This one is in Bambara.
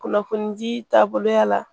Kunnafoni di taaboloya la